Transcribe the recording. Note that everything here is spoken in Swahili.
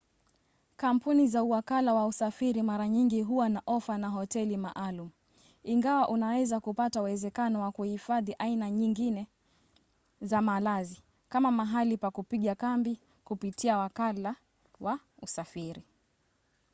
kampuni za uwakala wa usafiri mara nyingi huwa na ofa na hoteli maalum ingawa unaweza kupata uwezekano wa kuhifadhi aina nyingine za malazi kama mahali pa kupiga kambi kupitia wakala wa usafiri